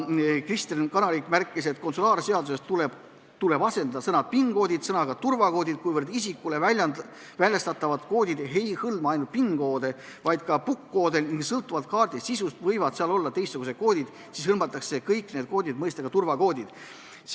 Kristen Kanarik märkis, et konsulaarseaduses tuleb asendada sõna "PIN-kood" sõnaga "turvakood", kuivõrd isikule väljastatavad koodid ei hõlma ainult PIN-koode, vaid ka PUK-koode, sõltuvalt kaardi sisust võivad seal olla teistsugused koodid, seetõttu hõlmatakse kõik need koodid mõistega "turvakood".